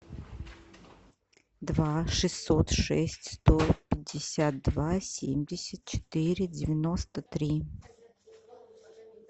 два шестьсот шесть сто пятьдесят два семьдесят четыре девяносто три